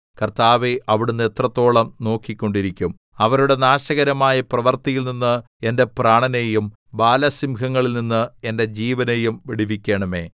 കർത്താവേ അവിടുന്ന് എത്രത്തോളം നോക്കിക്കൊണ്ടിരിക്കും അവരുടെ നാശകരമായ പ്രവൃത്തിയിൽനിന്ന് എന്റെ പ്രാണനെയും ബാലസിംഹങ്ങളിൽ നിന്ന് എന്റെ ജീവനെയും വിടുവിക്കണമേ